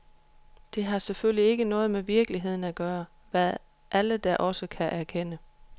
Det har selvfølgelig ikke noget med virkeligheden at gøre, hvad alle da også erkender.